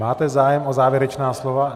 Máte zájem o závěrečná slova?